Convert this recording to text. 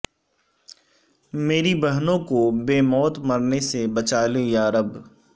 میری بہنوں کو بے موت مرنے سے بچا لے یارب